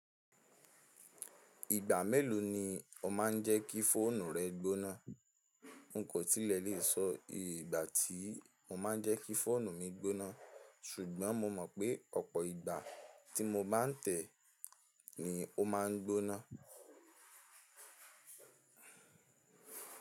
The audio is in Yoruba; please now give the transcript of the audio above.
Ìgbà mélòó ni o má n jẹ́ kí fóònù rẹ gbóná? N kò tilẹ̀ lè sọ ìgbà tí mo má n jẹ́ kí fóònù mi gbóná, ṣùgbọ́n mo mọ̀ pé ọ̀pọ̀ ìgbà tí mo bá n tẹ̀ ẹ́ ni ó má n gbóná.